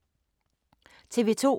TV 2